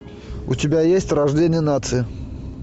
у тебя есть рождение нации